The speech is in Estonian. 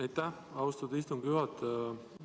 Aitäh, austatud istungi juhataja!